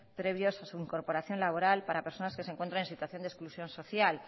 previos a su incorporación laboral para personas que se encuentren en situación de exclusión social